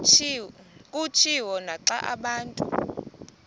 kutshiwo naxa abantu